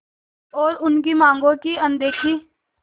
और उनकी मांगों की अनदेखी